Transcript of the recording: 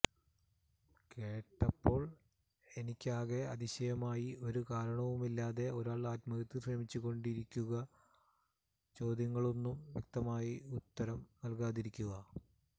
കേട്ടപ്പോൾ എനിക്കാകെ അതിശയമായി ഒരു കാരണവുമില്ലാതെ ഒരാൾ ആത്മഹത്യക്ക് ശ്രമിച്ചു കൊണ്ടിരിക്കുക ചോദ്യങ്ങൾക്കൊന്നും വ്യക്തമായി ഉത്തരം നൽകാതിരിക്കുക